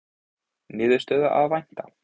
Niðurstöðu að vænta